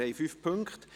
Wir haben fünf Punkte.